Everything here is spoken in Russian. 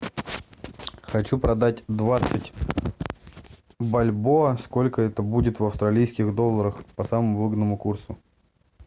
хочу продать двадцать бальбоа сколько это будет в австралийских долларах по самому выгодному курсу